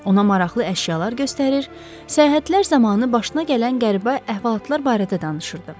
Ona maraqlı əşyalar göstərir, səyahətlər zamanı başına gələn qəribə əhvalatlar barədə danışırdı.